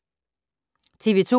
TV 2